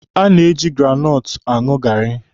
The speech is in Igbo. A na-eji granọtụ aṅụ gaarị.